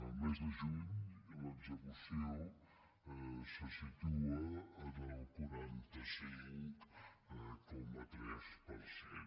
el mes de juny l’execució se situa en el quaranta cinc coma tres per cent